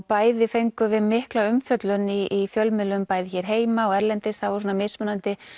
bæði fengum við mikla umfjöllun í fjölmiðlum bæði hér heima og erlendis það var mismunandi